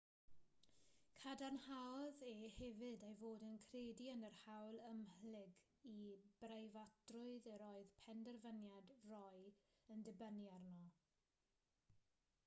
cadarnhaodd e hefyd ei fod yn credu yn yr hawl ymhlyg i breifatrwydd yr oedd penderfyniad roe yn dibynnu arno